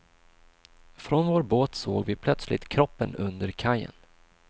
Från vår båt såg vi plötsligt kroppen under kajen.